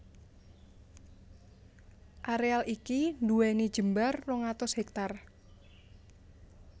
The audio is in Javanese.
Areal iki nduweni jembar rong atus hèktar